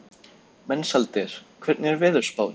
Mensalder, hvernig er veðurspáin?